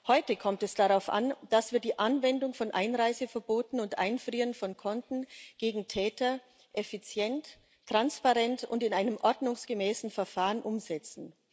Heute kommt es darauf an, dass wir die Anwendung von Einreiseverboten und das Einfrieren von Konten gegen Täter effizient, transparent und in einem ordnungsgemäßen Verfahren umsetzen.